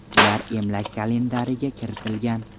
Ular emlash kalendariga kiritilgan.